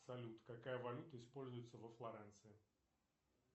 салют какая валюта используется во флоренции